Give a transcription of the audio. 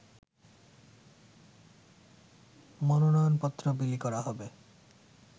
মনোনয়নপত্র বিলি করা হবে